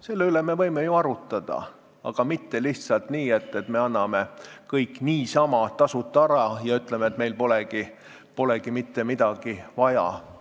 Selle üle me võime ju arutada, aga mitte lihtsalt nii, et me anname kõik niisama tasuta ära ja ütleme, et meile polegi mitte midagi vaja.